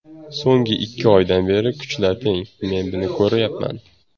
So‘nggi ikki oydan beri kuchlar teng, men buni ko‘ryapman.